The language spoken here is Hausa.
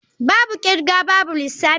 Babu kirga babu lissafi.